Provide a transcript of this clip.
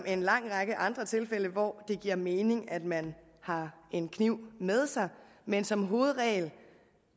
en lang række andre tilfælde hvor det giver mening at man har en kniv med sig men som hovedregel